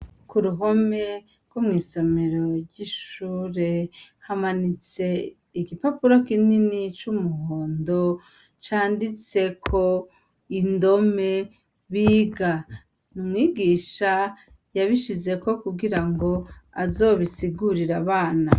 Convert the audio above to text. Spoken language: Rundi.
Ku ruhome rwo mw'isomero ry'ishure hamanitse igipapuro kinini c'umuhondo canditseko indome biga, n'umwigisha yabishize ko kugira ngo azobisigurire abana.